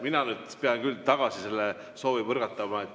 Mina nüüd pean küll selle soovi tagasi põrgatama.